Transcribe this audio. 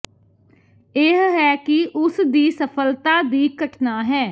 ਇਹ ਹੈ ਕਿ ਉਸ ਦੀ ਸਫਲਤਾ ਦੀ ਘਟਨਾ ਹੈ